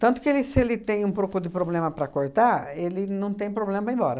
Tanto que ele se ele tem um pouco de problema para cortar, ele não tem problema para ir embora.